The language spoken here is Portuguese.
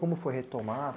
Como foi retomar?